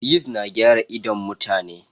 Yist na gyara idon mutane.